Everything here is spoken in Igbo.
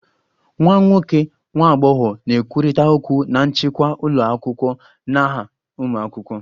Nwa nwoke / nwa agbọghọ na-ekwurịta okwu na nchịkwa ụlọ akwụkwọ n'aha ụmụ akwụkwọ